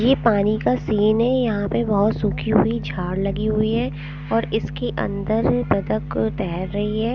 ये पानी का सीन है यहैं पे बहुत सूखी हुई झाड़ लगी हुई हैं और इसके अंदर बतख तैर रही हैं ।